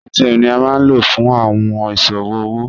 ATM ni a ma lo fun awọn iṣowo owo